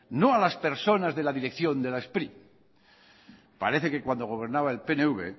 no a las personas de la dirección de la spri parece que cuando gobernaba el pnv